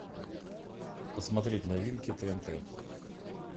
посмотреть новинки тнт